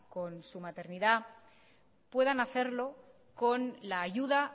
con su maternidad puedan hacerlo con la ayuda